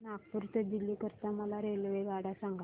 नागपुर ते दिल्ली करीता मला रेल्वेगाड्या सांगा